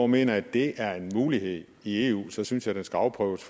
mener at det er en mulighed i eu så synes jeg den skal afprøves